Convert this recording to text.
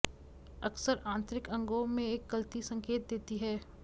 अक्सर आंतरिक अंगों में एक गलती संकेत देती है